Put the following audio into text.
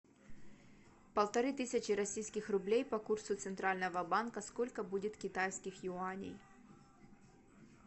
полторы тысячи российских рублей по курсу центрального банка сколько будет китайских юаней